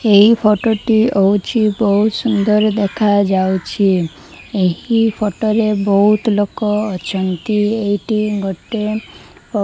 ଏହି ଫୋଟୋ ଟି ହଉଛି ବହୁତ ସୁନ୍ଦର୍ ଦେଖାଯାଉଛି ଏହି ଫୋଟୋ ରେ ବହୁତ୍ ଲୋକ ଅଛନ୍ତି ଏଇଠି ଗୋଟେ --